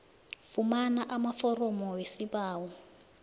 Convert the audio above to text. fumana amaforomo wesibawo